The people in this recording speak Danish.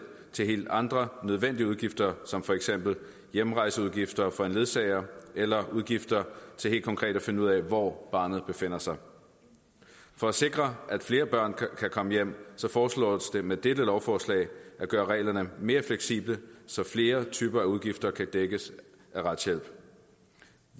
til helt andre nødvendige udgifter som for eksempel hjemrejseudgifter for en ledsager eller udgifter til helt konkret at finde ud af hvor barnet befinder sig for at sikre at flere børn kan komme hjem foreslås det med dette lovforslag at gøre reglerne mere fleksible så flere typer af udgifter kan dækkes af retshjælp